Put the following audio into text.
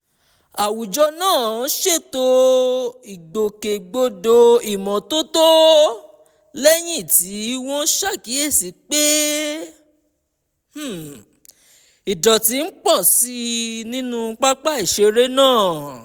àwùjọ náà ṣètò ìgbòkègbodò ìmọ́tótó lẹ́yìn tí wọ́n ṣàkíyèsí pé um ìdọ̀tí ń pọ̀ sí i nínú pápá ìṣeré náà